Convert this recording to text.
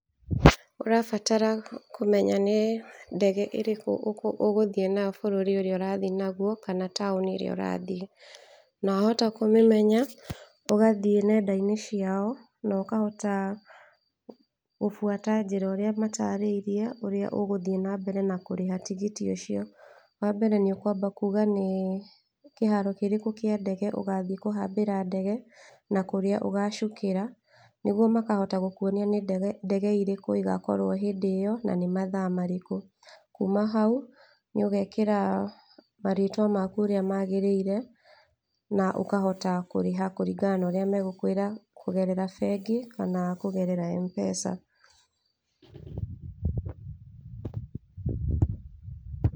Ũrabatara kũmenya nĩ ndege ĩrĩkũ ũgũthii nayo bũrũri ũrĩa ũrathiĩ nagwo kana taũni ĩrĩa ũrathiĩ, na wahota kũmĩmenya ũgathiĩ nenda-inĩ ciao na ũkahota gũbuata ũrĩa matarĩirie ũrĩa ũgũthiĩ na mbere na kũrĩha tigiti ũcio, wa mbere nĩ ũkwamba kuga nĩ kĩharo kĩrĩkũ kĩa ndege ũgathiĩ kũhamba ndege na kũrĩa ũgacukĩra, nĩgwo makahota gũkwonia nĩ ndege irĩkũ igakorwo hĩndĩ ĩyo na nĩ mathaa marĩkũ, kuma hau nĩ ũgekĩra marĩtwa mau ũrĩa magĩrĩire , na ũkahota kũrĩha kũringana na ũrĩa megũkwĩra kũgerera bengi kana kũgerera Mpesa.